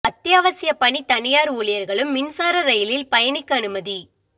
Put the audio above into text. அத்தியாவசியப் பணி தனியாா் ஊழியா்களும் மின்சார ரயிலில் பயணிக்க அனுமதி